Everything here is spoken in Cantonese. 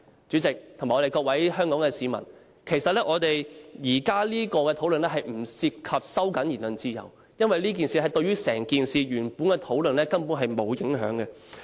主席，各位香港市民，其實現在關於表決鐘響時間的討論，並不涉及收窄言論自由。因為這件事對於原來問題的討論，根本沒有影響。